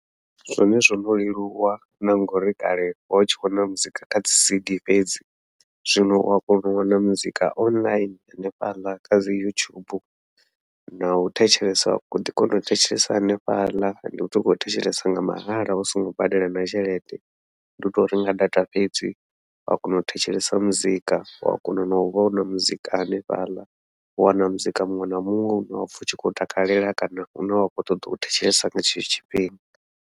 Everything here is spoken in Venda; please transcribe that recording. Zwone zwono leluwa na ngauri kale ho tshi wana muzika kha dzi cd fhedzi, zwino wa kona u wana muzika online hanefhaḽa kha dzi youtube nau thetshelesa u ḓi kona u thetshelesa hanefhaḽa, ndi u sokou thetshelesa nga mahala u songo badela na tshelede. Ndi utou renga data fhedzi wa kona u thetshelesa muzika wa kona nau vhona muzika hanefhaḽa, u wana muzika muṅwe na muṅwe une wa pfha u tshi khou takalela kana une wa khou ṱoḓa u thetshelesa nga tshetsho tshifhinga.